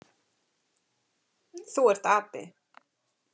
Þú ert api.